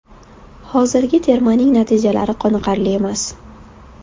Hozirgi termaning natijalari qoniqarli emas.